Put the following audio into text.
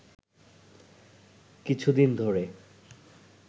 কিছুদিন ধরে